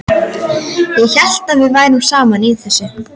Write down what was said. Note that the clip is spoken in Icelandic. Ég hélt við værum saman í þessu.